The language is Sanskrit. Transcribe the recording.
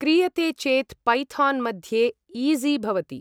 क्रियते चेत् पैथान् मध्ये ईॹि भवति ।